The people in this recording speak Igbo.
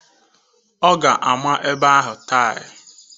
Ọ ga-ama ebe ahụ taịl.